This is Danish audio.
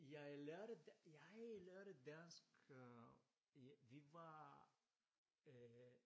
Jeg lærte jeg lærte dansk øh vi var øh